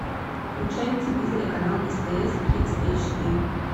включай на телевизоре канал стс кидс эйч ди